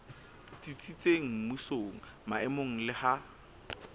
tsitsitseng mmusong maemong le ha